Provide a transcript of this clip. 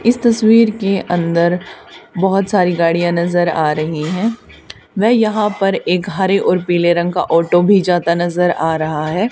इस तस्वीर के अंदर बहोत सारी गाड़ियां नजर आ रही है वह यहां पर एक हरे और पीले रंग का ऑटो भी जाता नजर आ रहा है।